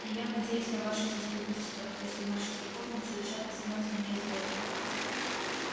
и я надеюсь на ваше заступничество если наши церковницы решат изгнать меня из города